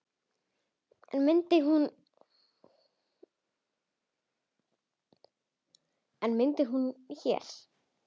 En myndar hún hér?